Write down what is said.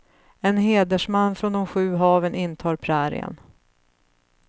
En hedersman från de sju haven intar prärien.